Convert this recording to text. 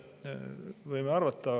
Võime arvata.